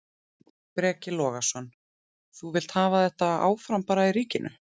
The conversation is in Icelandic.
Breki Logason: Þú vilt hafa þetta áfram bara í ríkinu?